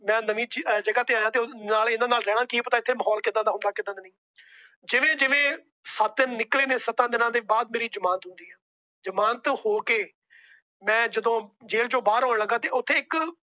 ਮੈ ਨਵੀ ਜਗਾਹ ਤੇ ਆਇਆ। ਨਾਲੇ ਕੀ ਪਤਾ ਮਾਹੌਲ ਕਿਦਾਂ ਦਾ ਹੁੰਦਾ ਕਿਦਾਂ ਦਾ ਨਹੀਂ। ਜਿਵੇ ਜਿਵੇ ਸੱਤ ਦਿਨ ਨਿਕਲੇ ਨੇ ਸੱਤਾ ਦਿਨਾਂ ਦੇ ਬਾਅਦ ਮੇਰੀ ਜਮਾਨਤ ਹੋਈ। ਜਮਾਨਤ ਹੋ ਕੇ ਮੈ ਜਦੋ ਜੇਲ ਚੋ ਬਾਹਰ ਆਣ ਲੱਗਾ ਤਾਂ ਉੱਥੇ ਇੱਕ